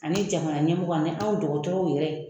Ani jamana ɲɛmɔgɔw ani anw dɔgɔtɔrɔw yɛrɛ.